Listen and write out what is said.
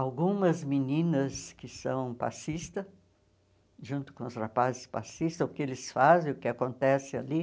algumas meninas que são passistas, junto com os rapazes passistas, o que eles fazem, o que acontece ali.